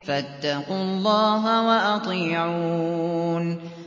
فَاتَّقُوا اللَّهَ وَأَطِيعُونِ